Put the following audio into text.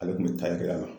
Ale tun bɛ taa kɛ a la